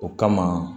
O kama